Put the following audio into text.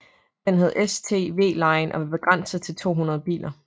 Den hed STWline og var begrænset til 200 biler